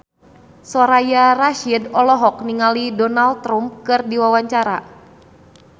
Soraya Rasyid olohok ningali Donald Trump keur diwawancara